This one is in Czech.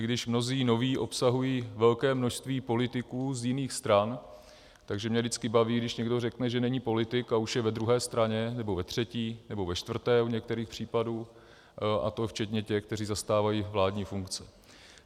I když mnozí noví obsahují velké množství politiků z jiných stran, takže mě vždycky baví, když někdo řekne, že není politik, a už je ve druhé straně nebo ve třetí nebo ve čtvrté u některých případů, a to včetně těch, kteří zastávají vládní funkce.